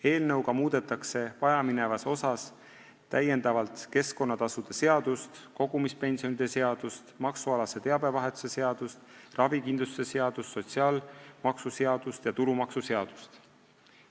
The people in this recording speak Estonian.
Eelnõuga muudetakse vajaminevas osas täiendavalt keskkonnatasude seadust, kogumispensionide seadust, maksualase teabevahetuse seadust, ravikindlustuse seadust, sotsiaalmaksuseadust ja tulumaksuseadust.